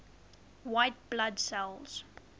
white blood cells